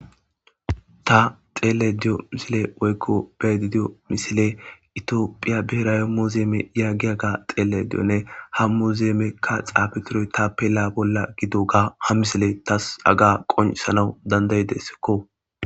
ta xelayda diyo misiley woykko beedidiyo misile itiophiya beera yammo zeeme yaggiya ga xeele diyonne ham mu zeemekka xaafitiroy ta pe la bolla gido ga ha misile tas aga qonsanawu dandayidessikko